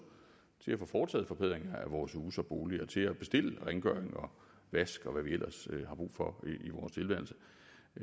til at få foretaget forbedringer af vores huse og boliger og til at bestille rengøring og vask og hvad vi ellers har brug for